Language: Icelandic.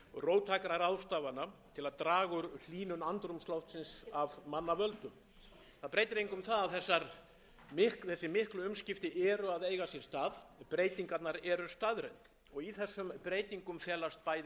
róttækra ráðstafana til að draga úr hlýnun andrúmsloftsins af manna völdum það breytir engu um það að þessi miklu umskipti eru að eiga sér stað breytingarnar eru staðreynd í þessum breytingum felast bæði tækifæri